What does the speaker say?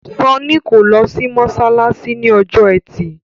Sanni kò ló sì masalasi ní Ọjọ́ Ẹti.